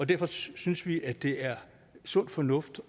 derfor synes vi at det er sund fornuft